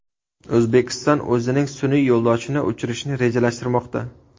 O‘zbekiston o‘zining sun’iy yo‘ldoshini uchirishni rejalashtirmoqda.